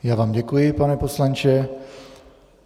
Já vám děkuji, pane poslanče.